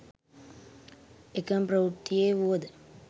එකම ප්‍රවෘත්තියේ වුවද